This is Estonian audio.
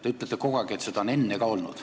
Ta ütlete kogu aeg, et seda on enne ka olnud.